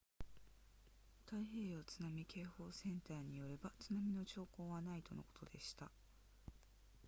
太平洋津波警報センターによれば津波の兆候はないとのことでした